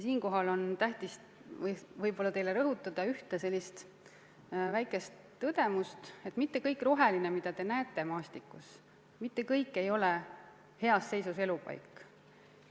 Siinkohal on tähtis teile rõhutada ühte sellist väikest tõdemust, et mitte kõik roheline, mida te näete maastikul, ei ole heas seisus elupaik.